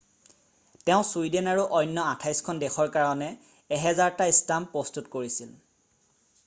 তেওঁ ছুইডেন আৰু অন্য 28 খন দেশৰ কাৰণে 1,000টা ষ্টাম্প প্ৰস্তুত কৰিছিল